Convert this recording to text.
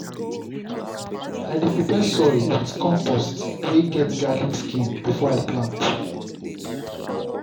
i dey prepare soil with compost wey get garlic skin before i plant.